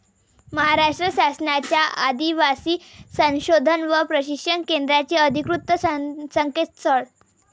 महाराष्ट्र शासनाच्या आदिवासी संशोधन व प्रशिक्षण केंद्राचे अधिकृत संकेतस्थळ